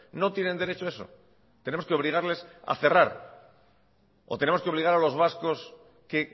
no tienen derecho a eso tenemos que obligarles a cerrar o tenemos que obligar a los vascos que